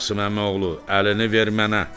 Qasım Əmi oğlu, əlini ver mənə!